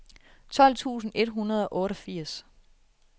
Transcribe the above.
tolv tusind et hundrede og otteogfirs